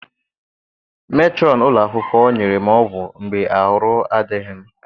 Metrọn ụlọ akwụkwọ nyere m ọgwụ mgbe arụ adịghị m.